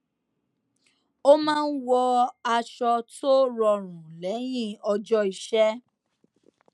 ó máa ń wọ aṣọ tó rọrùn lẹyìn ọjọ iṣẹ